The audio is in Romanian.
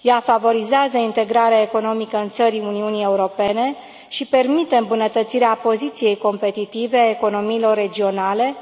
Ea favorizează integrarea economică în țările Uniunii Europene și permite îmbunătățirea poziției competitive a economiilor regionale,